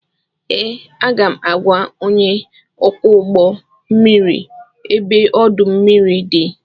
Ee, aga m agwa onye ọkwọ ụgbọ mmiri ebe ọdụ ụgbọ mmiri dị